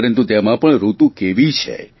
પરંતુ તેમાં પણ ઋતુ કેવી છે